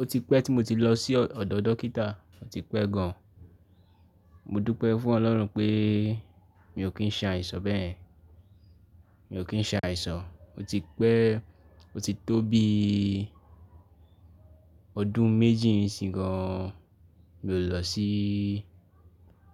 O ti pẹ́ tí mo ti lọ sí ọ̀dọ̀ dókítà, ó ti pẹ́ gan. Mo dúpẹ́ fún Ọlọ́run pé mi ò kí ń ṣa àìsàn bẹ́ ye, mi ò kí ń ṣe àìsàn. O ti pẹ́, o ti tó bí ọdún méjì ńi isi gan mi ò lọ sí,